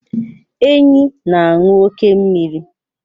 Enyí na-aṅụ oke mmiri.